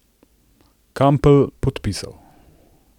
Kampl podpisal!